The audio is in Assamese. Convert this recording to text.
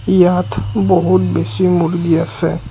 ইয়াত বহুত বেছি মূৰ্গী আছে।